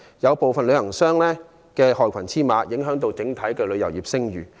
有部分旅行商淪為害群之馬，影響整體旅遊業的聲譽。